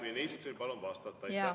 Ministril palun vastata!